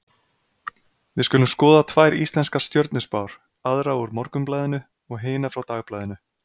Við skulum skoða tvær íslenskar stjörnuspár, aðra úr Morgunblaðinu og hina frá Dagblaðinu.